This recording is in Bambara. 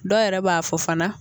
Dɔ yɛrɛ b'a fɔ fana